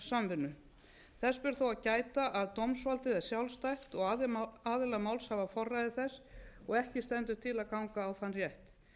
samvinnu þess ber þó að gæta að dómsvaldið er sjálfstætt og aðilar máls hafa forræði þess og ekki stendur til að ganga á þann rétt